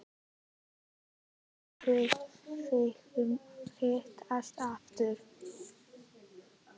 Töluðuð þið um að hittast aftur?